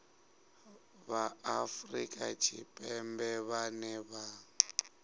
vha afrika tshipembe vhane vha